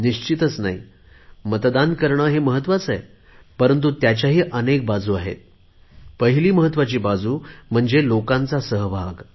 नक्कीच नाही मतदान करणे हे लोकशाहीसाठी महत्त्वाचे आहे परंतु त्याच्या अनेक बाजू आहेत पहिली महत्त्वाची बाजू म्हणजे लोकांचा सहभाग